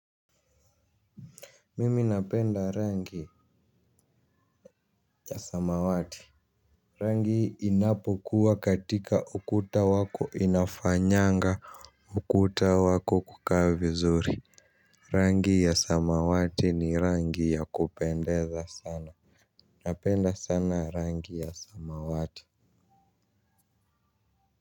Mimi napenda rangi ya samawati. Rangi inapokuwa katika ukuta wako inafanyanga ukuta wako kukaa vizuri. Rangi ya samawati ni rangi ya kupendeza sana. Napenda sana rangi ya samawati.